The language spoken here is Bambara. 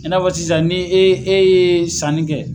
I n'a fɔ sisan ni e ye sanni kɛ